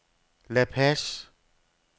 La Paz